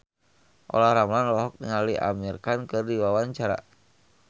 Olla Ramlan olohok ningali Amir Khan keur diwawancara